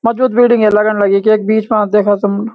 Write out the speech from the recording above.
मजबूत बिल्डिंग ये लगन लगी की एक बीच मा देखा तुम।